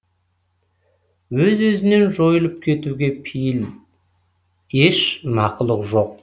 өз өзінен жойылып кетуге пейіл еш мақұлық жоқ